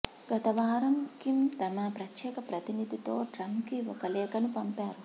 గతవారం కిమ్ తమ ప్రత్యేక ప్రతినిధితో ట్రంప్కి ఒక లేఖను పంపారు